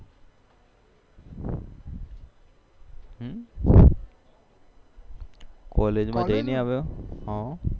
college માં જઈને આવ્યો